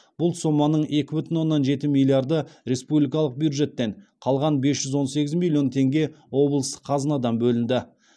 бұл соманың екі бүтін оннан жеті миллиарды республикалық бюджеттен қалған бес жүз он сегіз миллион теңге облыстық қазынадан бөлінді